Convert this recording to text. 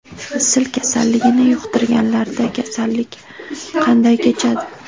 Sil kasalligini yuqtirganlarda kasallik qanday kechadi?